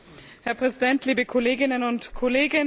Herr Präsident, liebe Kolleginnen und Kollegen!